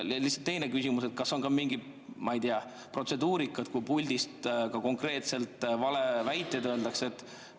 Ja teine küsimus: kas on ka mingi protseduurika puhuks, kui puldist ka konkreetselt valeväiteid öeldakse?